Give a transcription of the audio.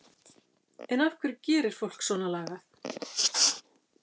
En af hverju gerir fólk svona lagað?